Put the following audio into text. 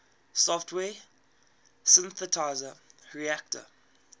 software synthesizer reaktor